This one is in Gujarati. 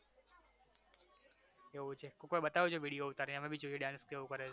એવુ છે કોક વાર બતાવજો video ઉતારીને અમે ભી જોઈએ dance કેવો કરે છે